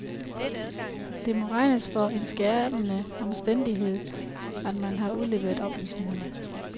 Det må regnes for en skærpende omstændighed, at man har udleveret oplysningerne.